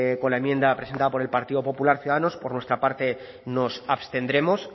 con la enmienda presentada por el partido popular ciudadanos por nuestra parte nos abstendremos